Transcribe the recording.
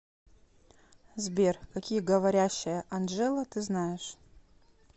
сбер какие говорящая анджела ты знаешь